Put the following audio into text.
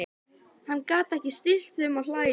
Hann gat ekki stillt sig um að hlæja.